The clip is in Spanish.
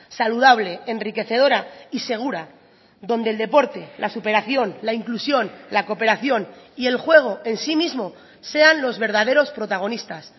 saludable enriquecedora y segura donde el deporte la superación la inclusión la cooperación y el juego en sí mismo sean los verdaderos protagonistas